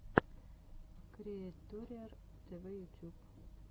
криэйториар тв ютуб